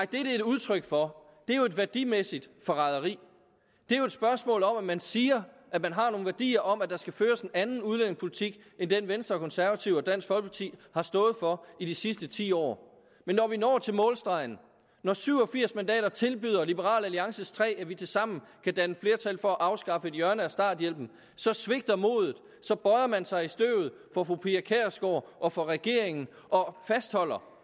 det er et udtryk for er jo et værdimæssigt forræderi det er jo et spørgsmål om at man siger at man har nogle værdier om at der skal føres en anden udlændingepolitik end den venstre og konservative og dansk folkeparti har stået for i de sidste ti år men når vi når til målstregen når syv og firs mandater tilbyder liberal alliances tre at vi tilsammen kan danne flertal for at afskaffe et hjørne af starthjælpen så svigter modet så bøjer man sig i støvet for fru pia kjærsgaard og for regeringen og fastholder